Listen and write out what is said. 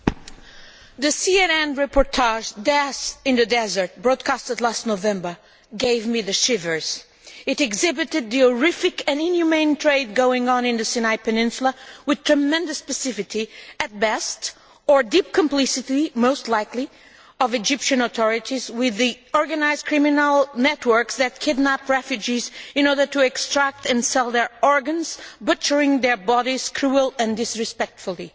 Madam President, the CNN reportage Death in the desert' broadcast last November gave me the shivers. It exhibited the horrific and inhumane trade going on in the Sinai Peninsula with tremendous specificity at best, or deep complicity most likely of the Egyptian authorities with the organised criminal networks that kidnap refugees in order to extract and sell their organs, butchering their bodies cruelly and disrespectfully.